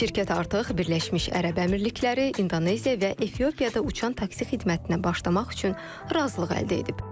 Şirkət artıq Birləşmiş Ərəb Əmirlikləri, İndoneziya və Efiopiyada uçan taksi xidmətinə başlamaq üçün razılıq əldə edib.